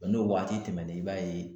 N'o waati tɛmɛna i b'a ye